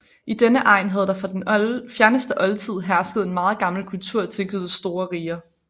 I denne egn havde der fra den fjerneste oldtid hersket en meget gammel kultur tilknyttet store riger